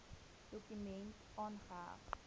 dokument aangeheg